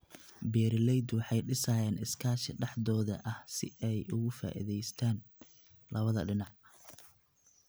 Beeraleydu waxay dhisayaan iskaashi dhexdooda ah si ay uga faa'iidaystaan ??labada dhinac.